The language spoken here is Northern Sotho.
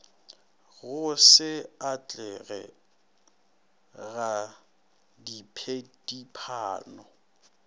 go se atlege ga diphedipano